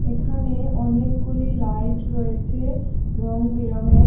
এখানে অনেকগুলি লাইট রয়েছে রং বেরংয়ের।